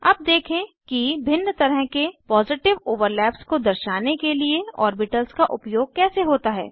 अब देखें कि भिन्न तरह के पॉजिटिव ओवरलैप्स को दर्शाने के लिए ऑर्बिटल्स का उपयोग कैसे होता है